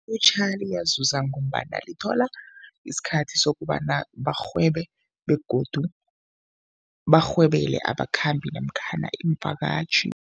yazuza ngombana lithola isikhathi sokobana barhwebe begodu barhwebele abakhambi namkhana iimvakatjhi.